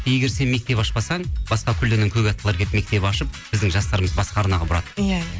егер сен мектеп ашпасаң басқа көлденең көк аттылар келіп мектеп ашып біздің жастарымызды басқа арнаға бұрады иә иә